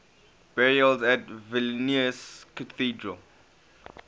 burials at vilnius cathedral